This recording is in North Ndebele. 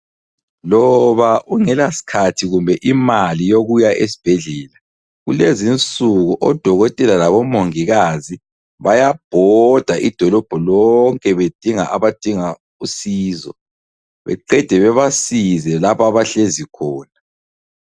Loba ungela sikhathi kumbe imali yokuya esibhedlela, Kulezinsuku odokotela labo mongikazi bayabhoda idolobho lonke bedinga abadinga usizo. Beqede babasize lapho abahlezi khona.